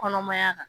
Kɔnɔmaya